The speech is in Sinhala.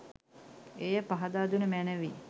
එය පහදා දුන මැනවි